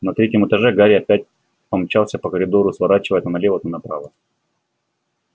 на третьем этаже гарри опять помчался по коридору сворачивая то налево то направо